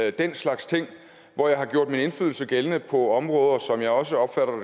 og den slags ting hvor jeg har gjort min indflydelse gældende på områder som jeg også opfatter